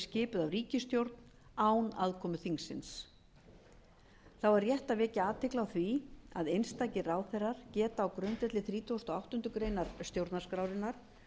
skipuð af ríkisstjórn án aðkomu þingsins þá er rétt að vekja athygli á því að einstakir ráðherrar geta á grundvelli þrítugasta og áttundu grein stjórnarskrárinnar